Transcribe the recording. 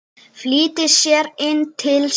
Flýtti sér inn til sín.